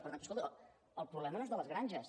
per tant escolta el problema no és de les granges